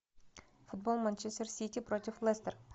футбол манчестер сити против лестер